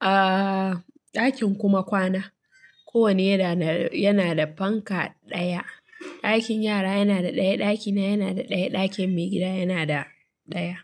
a ɗakin kuma kwana, kowane yana da fanka ɗaya. Ɗakin yara yana da ɗaya, ɗakina yana da ɗaya, ɗakin maigida yana da ɗaya.